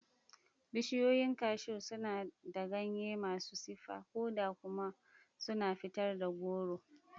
Bishiyoyin cashew suna da ganye masu siffar koda kuma suna fitar da goro.